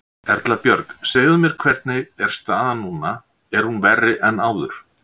Erla Björg: Segðu mér, hvernig er staðan núna, er hún verri en áður?